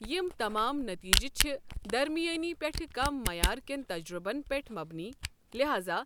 تم تمام نتیجہِ چھ درمیٲنی پیٹھہٕ كم معیار کٮ۪ن تجربن پیٹھ مبنی، لحاذا